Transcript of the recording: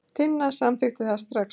Tinna samþykkti það strax.